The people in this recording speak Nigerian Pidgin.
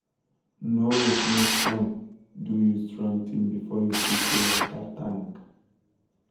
no wait make sun do you strong thing before you fix your water tank.